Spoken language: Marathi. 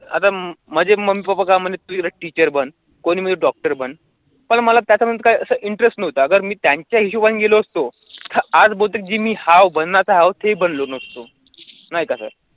आता माझे मम्मी पपा काय म्हणत तू teacher बन कोणी म्हणे doctor बन पण मला त्याच्यामध्ये काय असं interest नव्हता अगर मी त्यांच्या हिशोबाने गेलो असतो तर आज बहुतेक जे मी हाव बनण्याचा तर हाव ते ही बनलो नसतो, नाही का sir